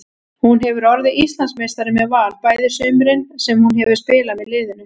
Hún hefur orðið Íslandsmeistari með Val bæði sumurin sem hún hefur spilað með liðinu.